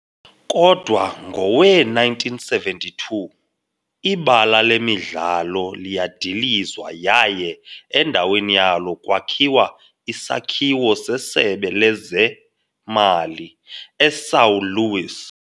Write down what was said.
Kodwa ngowe-1972 ibala lemidlalo liyadilizwa yaye endaweni yalo kwakhiwa isakhiwo seSebe Lezemali eSão Luís.